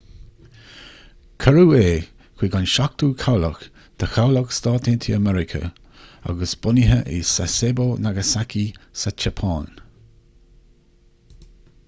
cuireadh é chuig an seachtú cabhlach de chabhlach s.a.m. agus bunaithe i sasebo nagasaki sa tseapáin